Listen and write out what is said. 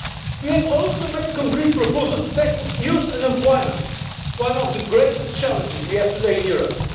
We have also made concrete proposals to tackle youth unemployment one of the greatest challenges we have today in Europe.